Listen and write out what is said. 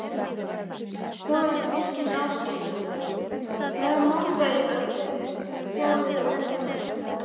Þóra Kristín Ásgeirsdóttir: Hvaða mótvægisaðgerðir sjáið þið helstar?